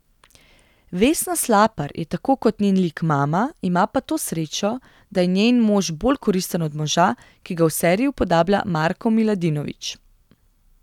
Vesna Slapar je tako kot njen lik mama, ima pa to srečo, da je njen mož bolj koristen od moža, ki ga v seriji upodablja Marko Miladinović.